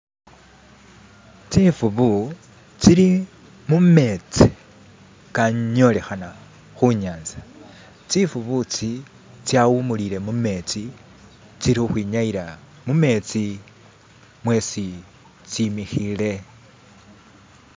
Tsifuvu tsili mumetsi khanyolekhana khunyatsa, tsifuvu tsi tsawumulile mumetsi, tsilukwinyayila mumetsi mwetsi tsimikiile